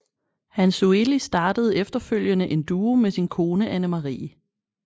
Hansueli startede efterfølgende en duo med sin kone Annemarie